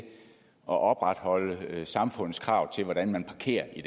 opretholde samfundets krav til hvordan man parkerer i